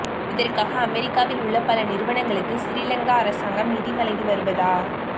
இதற்காக அமெரிக்காவில் உள்ள பல நிறுவனங்களுக்கு சிறிலங்கா அரசாங்கம் நிதி வழங்கி வருவதா